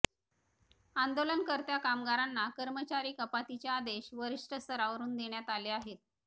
आंदोलनकर्त्या कामगारांना कर्मचारी कपातीचे आदेश वरिष्ठ स्तरावरून आले आहेत